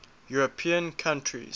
european countries